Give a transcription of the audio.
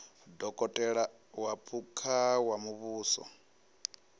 dokotela wa phukha wa muvhuso